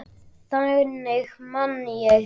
Þannig man ég þig.